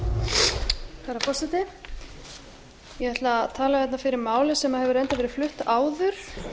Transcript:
herra forseti ég ætla að tala hérna fyrir máli sem hefur reyndar verið flutt áður